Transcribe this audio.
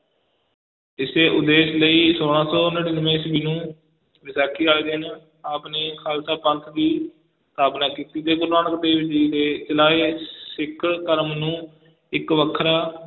ਇਸੇ ਉਦੇਸ਼ ਲਈ ਛੋਲਾਂ ਸੌ ਨੜ੍ਹਿਨਵੇਂ ਈਸਵੀ ਨੂੰ ਵਿਸਾਖੀ ਵਾਲੇ ਦਿਨ ਆਪ ਨੇ ਖਾਲਸਾ ਪੰਥ ਦੀ ਸਥਾਪਨਾ ਕੀਤੀ ਤੇ ਗੁਰੂ ਨਾਨਕ ਦੇਵ ਜੀ ਦੇ ਚਲਾਏ ਸਿੱਖ ਧਰਮ ਨੂੰ ਇੱਕ ਵੱਖਰਾ